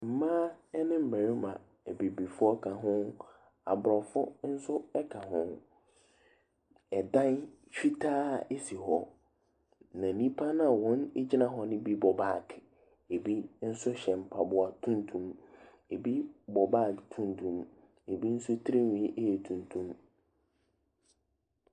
Mmaa ne mmarima. Abibifoɔ ka ho, Aborɔfo nso ka ho. Ɛdan fitaa bi si hɔ, na nnipa no a wɔgyina hɔ no bi bɔ baage. Ɛbi nso hyɛ mpaboa tunyum. Ɛbi bɔ baage tuntum, Ɛbi nso tirinwi yɛ tuntum.